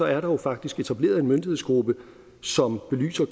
er der jo faktisk etableret en myndighedsgruppe som belyser